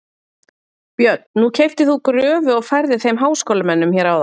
Björn: Nú keyptir þú gröfu og færðir þeim háskólamönnum hér áðan?